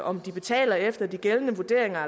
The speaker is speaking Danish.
om de betaler efter de gældende vurderinger